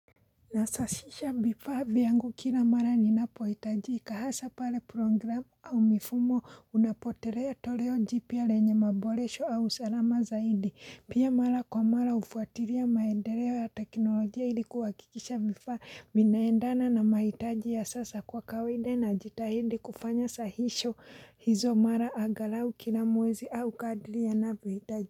Nasasisha vifaa vyangu kila mara ninapohitajika hasa pale programu au mifumo Unapotelea toleo jipya lenye maboresho au usalama zaidi. Pia, mara kwa mara hufuatilia maendeleo ya teknolojia ili kuhakikisha vifaa vinaendana na mahitaji ya sasa. Kwa kawaida najitahidi kufanya sahisho hizo mara angalau kila mwezi au kadri yanavyohitaji.